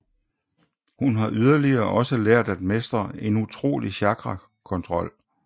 Hun har yderligere også lært at mestre en utrolig chakra kontrol